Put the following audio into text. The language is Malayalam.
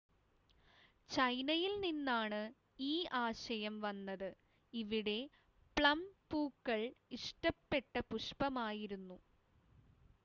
ചൈനയിൽ നിന്നാണ് ഈ ആശയം വന്നത് ഇവിടെ പ്ലം പൂക്കൾ ഇഷ്ടപ്പെട്ട പുഷ്പമായിരുന്നു